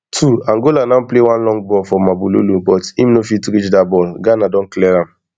twoangola now play one long ball for mabululu but im no fit reach dat ball ghana don clear am